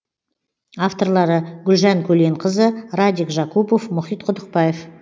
авторлары гүлжан көленқызы радик жакупов мұхит құдықбаев